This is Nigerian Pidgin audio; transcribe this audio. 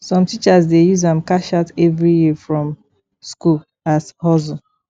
som teachers dey use am cash out evri year from skool as hustle